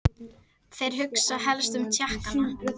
Þeir hugsa helstum Tékkana.